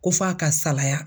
Ko f'a ka salaya